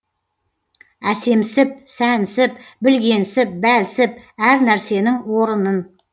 әсемсіп сәнсіп білгенсіп бәлсіп әр нәрсенің орынын